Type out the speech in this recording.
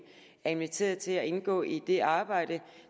er inviteret til at deltage og indgå i det arbejde